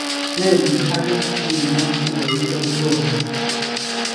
Ne kit age nekimwa nekonyitot Rono.